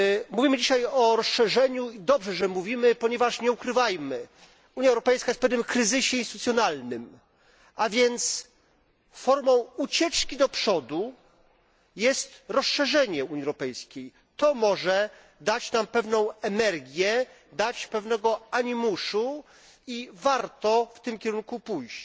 Mówimy dzisiaj o rozszerzeniu i dobrze, że o tym mówimy, ponieważ, nie ukrywajmy, Unia Europejska jest w pewnym kryzysie instytucjonalnym, a więc formą ucieczki do przodu jest rozszerzenie Unii Europejskiej, to może dać nam pewną energię, dać pewnego animuszu i warto w tym kierunku pójść.